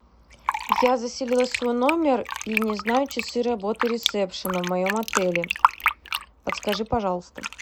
я заселилась в свой номер и не знаю часы работы ресепшна в моем отеле подскажи пожалуйста